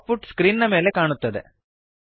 out ಪುಟ್ screen ನ ಮೇಲೆ ಕಾಣುತ್ತದೆ